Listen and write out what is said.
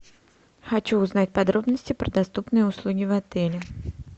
хочу узнать подробности про доступные услуги в отеле